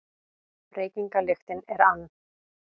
Reykingalyktin er ann